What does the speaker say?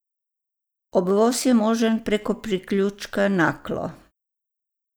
Obvoz je možen preko priključka Naklo.